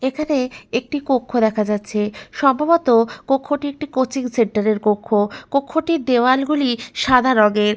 এখানে একটি কক্ষ দেখা যাচ্ছে। সম্ভবত কক্ষটি একটি কোচিং সেন্টার এর কক্ষ। কক্ষটির দেওয়াল গুলি সাদা রঙের।